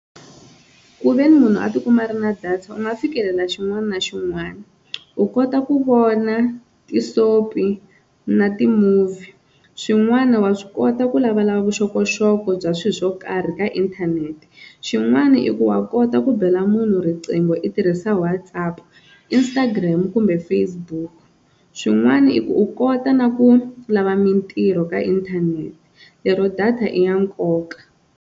Kuveni munhu a tikuma a ri na data u nga fikelela xin'wana na xin'wana u kota ku vona ti-sopie na ti-movie, swin'wana wa swi kota ku lavalava vuxokoxoko bya swi swo karhi ka inthanete xin'wana i ku wa kota ku bela munhu riqingho i tirhisa WhatsApp, Instagram kumbe Facebook swin'wana i ku u kota na ku lava mintirho ka inthanete lero data i ya nkoka.